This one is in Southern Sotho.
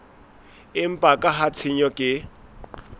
empa ka ha tshenyo ke